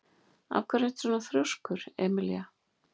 Af hverju ertu svona þrjóskur, Emelína?